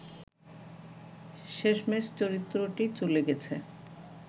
শেষমেশ চরিত্রটি চলে গেছে